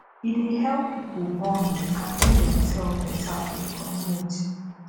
e dey help pipo bond and no demself beta for di community